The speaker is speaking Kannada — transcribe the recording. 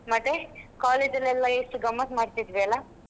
ಮತ್ತೆ college ಅಲ್ಲಿ ಎಲ್ಲಾ ಎಷ್ಟು ಗಮ್ಮತ್ತು ಮಾಡ್ತಿದ್ವಿ ಅಲಾ.